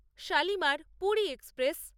Shalimar-Puri express